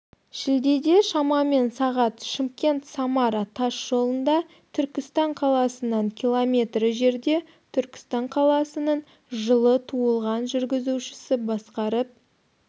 шілдеде шамамен сағат шымкент-самара тас жолында түркістан қаласынан км жерде түркістан қаласының жылы туылған жүргізушісі басқарып